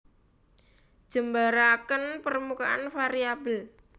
Jembaraken permukaan variabel